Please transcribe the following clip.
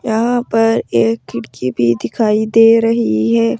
यहां पर एक खिड़की भी दिखाई दे रही है।